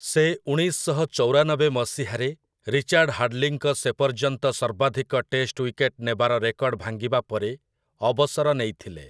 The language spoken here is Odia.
ସେ ଉଣେଇଶ ଶହ ଚଉରାନବେ ମସିହାରେ, ରିଚାର୍ଡ ହାଡ୍ଲିଙ୍କ ସେପର୍ଯ୍ୟନ୍ତ ସର୍ବାଧିକ ଟେଷ୍ଟ ୱିକେଟ୍ ନେବାର ରେକର୍ଡ ଭାଙ୍ଗିବା ପରେ, ଅବସର ନେଇଥିଲେ ।